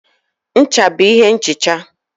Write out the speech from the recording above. Ncha bụ ihe nhicha.